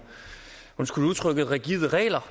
undskyld udtrykket rigide regler